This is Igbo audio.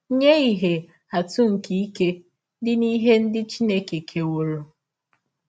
Nye ihe atụ nke ike dị n’ihe ndị Chineke kewọrọ.